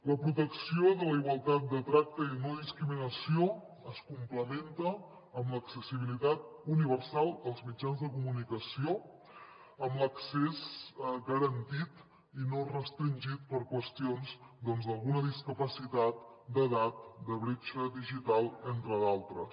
la protecció de la igualtat de tracte i no discriminació es complementa amb l’accessibilitat universal als mitjans de comunicació amb l’accés garantit i no restringit per qüestions d’alguna discapacitat d’edat de bretxa digital entre d’altres